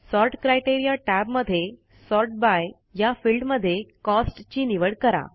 sort criteria टॅबमध्ये sort by या फिल्डमध्ये कॉस्ट ची निवड करा